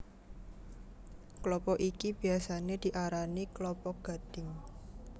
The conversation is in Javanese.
Klapa iki biyasané diarani klapa gadhing